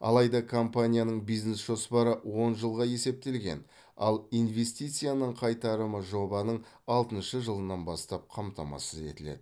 алайда компанияның бизнес жоспары он жылға есептелген ал инвестицияның қайтарымы жобаның алтыншы жылынан бастап қамтамасыз етіледі